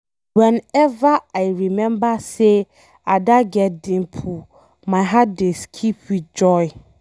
Whenever I remember say Ada get dimple my heart dey skip with joy.